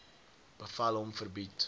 bevel hom verbied